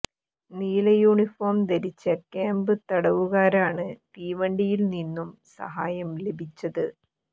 നീല യൂണിഫോം ധരിച്ച ക്യാമ്പ് തടവുകാരാണ് തീവണ്ടിയിൽ നിന്നും സഹായം ലഭിച്ചത്